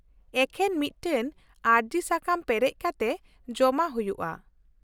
ᱼᱮᱠᱷᱮᱱ ᱢᱤᱫᱴᱟᱝ ᱟᱹᱨᱡᱤ ᱥᱟᱠᱟᱢ ᱯᱮᱨᱮᱡᱽ ᱠᱟᱛᱮ ᱡᱚᱢᱟ ᱦᱩᱭᱩᱜᱼᱟ ᱾